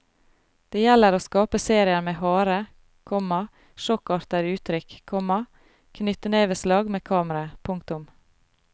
Det gjelder å skape serier med harde, komma sjokkartete uttrykk, komma knyttneveslag med kameraet. punktum